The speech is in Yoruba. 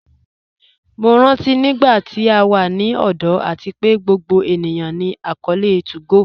Mo rántí nígbàtí à wà ní ọ̀dọ̀ àti pé gbogbo ènìyàn ní akọọlẹ̀ 2go